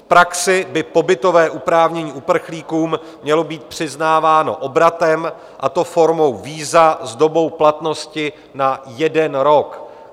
V praxi by pobytové oprávnění uprchlíkům mělo být přiznáváno obratem, a to formou víza s dobou platnosti na jeden rok.